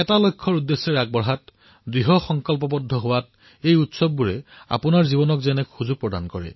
এই উৎসৱে আপোনাৰ জীৱনলৈ যাতে এক অভিযানৰ ভিত্তিত আগুৱাই যোৱাৰ দৃঢ় সংকল্প লোৱাৰ অৱকাশ সৃষ্টি কৰে